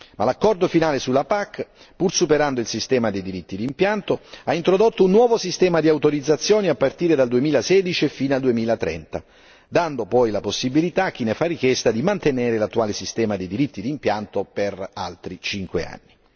Ma l'accordo finale sulla PAC, pur superando il sistema dei diritti d'impianto, ha introdotto un nuovo sistema di autorizzazioni a partire dal 2016 e fino al 2030, dando poi la possibilità a chi ne fa richiesta di mantenere l'attuale sistema dei diritti d'impianto per altri cinque anni.